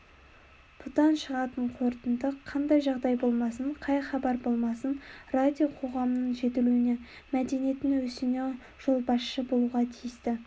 бұдан шығатын қорытынды қандай жағдай болмасын қай хабар болмасын радио қоғамның жетілуіне мәдениеттің өсуіне жолбасшы болуға тиісті